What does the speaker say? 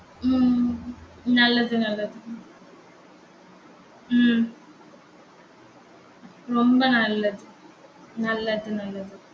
உம் உம் உம் நல்லது நல்லது உம் ரொம்ப நல்லது நல்லது நல்லது